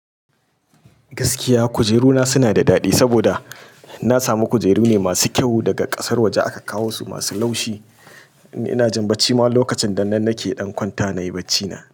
Gaskiya kujeru na suna da daɗi saboda na samu kujeru ne masu kyau daga ƙasar waje aka kawo su masu laushi. Ina jin bacci ma lokacin dan nan nake ɗan kwanta nayi bacci na.